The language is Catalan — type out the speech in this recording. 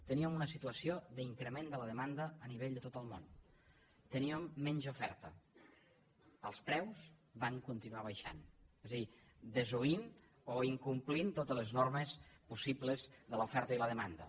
teníem una situació d’increment de la demanda a nivell de tot el món teníem menys oferta els preus van continuar baixant és a dir desoint o incomplint totes les normes possibles de l’oferta i la demanda